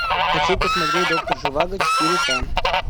хочу посмотреть доктор живаго четыре ка